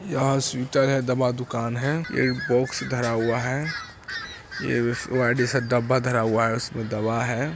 यहाँ स्वेटर है दवा दुकान है एक बॉक्स धरा हुआ है वाईट जैसा डब्बा धरा हुआ है उसमें दवा है।